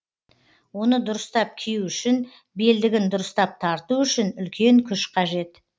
оны дұрыстап кию үшін белдігін дұрыстап тарту үшін үлкен күш қажет